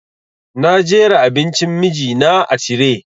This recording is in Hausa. Na jera abincin miji na a tire